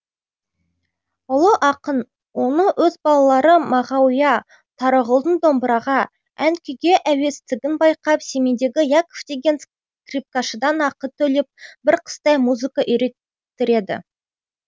ұлы ақын оны өз балалары мағауия тарағұлдың домбыраға ән күйге әуестігін байқап семейдегі яков деген скрипкашыдан ақы төлеп бір қыстай музыка үйреттіреді